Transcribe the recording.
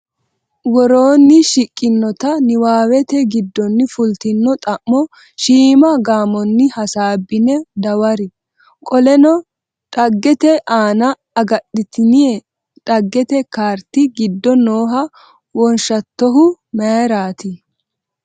Woroonni shiqqinota niwaawete giddonni fultino xa’mo shiima gaamonni hasaabbine dawari. Qoleno dhaggete aante agadhitine dhaggete kaarti giddo nooha wonshatohu mayirati?